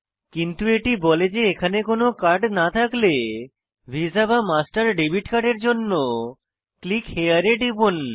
কিন্তু এটি বলে যে এখানে কোনো কার্ড না থাকলে ভিসা বা মাস্টার ডেবিট কার্ডের জন্য ক্লিক হেরে এ টিপুন